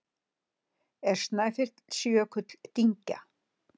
Er Snæfellsjökull dyngja?